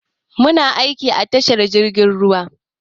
Muna aiki a tashar jirgin ruwa.